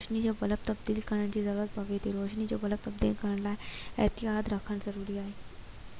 انهيءِ کانپوءِ روشني جو بلب تبديل ڪرڻ جي ضرورت پوي ٿي روشني جو بلب تبديل ڪرڻ جي لاءِ احتياط رکڻ ضروري آهي